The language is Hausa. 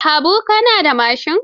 Habu, ka na da mashin?